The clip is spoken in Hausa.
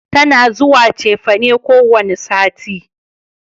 Tana zuwa cefane kowane sati